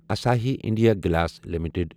Asahi India glass limited